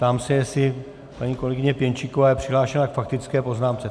Ptám se, jestli paní kolegyně Pěnčíková je přihlášená k faktické poznámce.